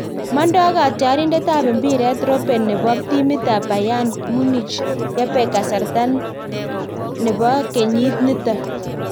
Mondo katyarindet ab mpiret Robben nebo timit ab Bayern Munich yebek kasarta nebo kenyit niton